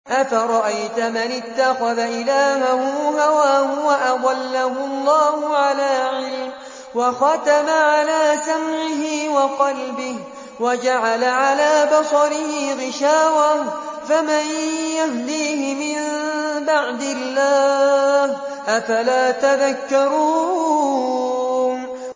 أَفَرَأَيْتَ مَنِ اتَّخَذَ إِلَٰهَهُ هَوَاهُ وَأَضَلَّهُ اللَّهُ عَلَىٰ عِلْمٍ وَخَتَمَ عَلَىٰ سَمْعِهِ وَقَلْبِهِ وَجَعَلَ عَلَىٰ بَصَرِهِ غِشَاوَةً فَمَن يَهْدِيهِ مِن بَعْدِ اللَّهِ ۚ أَفَلَا تَذَكَّرُونَ